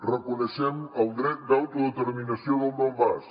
reconeixem el dret d’autodeterminació del donbass